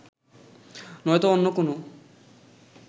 নয়তো অন্য কোনও